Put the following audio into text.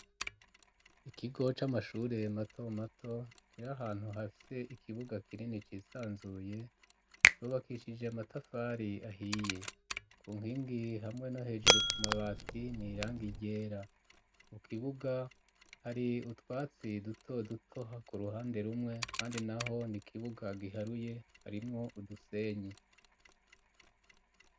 Ikigo c'amashure mato mato kiri ahantu hafise ikibuga kinini cisanzuye cubakishije amatafari ahiye ku nkingi hamwe no hejuru ku mabati n'irangi ryera mu kibuga hari utwatsi duto dutoha ku ruhande rumwe kandi naho n'ikibuga giharuye harimwo udusenyi.